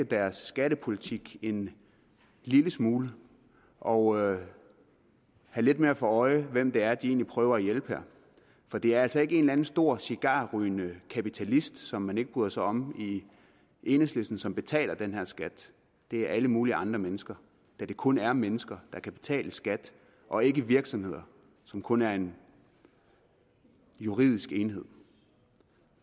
deres skattepolitik en lille smule og have lidt mere for øje hvem det er de egentlig prøver at hjælpe her for det er altså ikke en eller anden stor cigarrygende kapitalist som man ikke bryder sig om i enhedslisten som betaler den her skat det er alle mulige andre mennesker da det kun er mennesker der kan betale skat og ikke virksomheder som kun er en juridisk enhed